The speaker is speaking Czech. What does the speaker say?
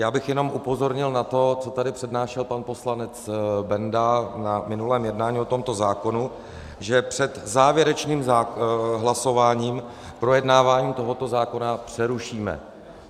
Já bych jenom upozornil na to, co tady přednášel pan poslanec Benda na minulém jednání o tomto zákonu, že před závěrečným hlasováním projednávání tohoto zákona přerušíme.